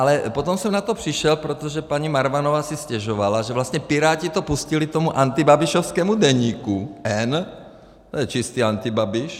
Ale potom jsem na to přišel, protože paní Marvanová si stěžovala, že vlastně Piráti to pustili tomu antibabišovskému Deníku N - to je čistě antibabiš.